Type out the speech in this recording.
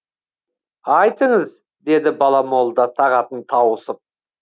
айтыңыз деді бала молда тағатын тауысып